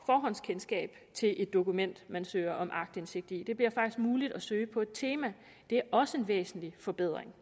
forhåndskendskab til et dokument man søger om aktindsigt i det bliver faktisk muligt at søge på et tema det er også en væsentlig forbedring